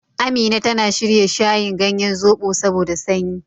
Amina tana shirya shayin ganyen zoɓo saboda sanyi.